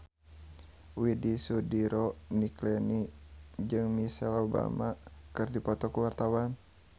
Widy Soediro Nichlany jeung Michelle Obama keur dipoto ku wartawan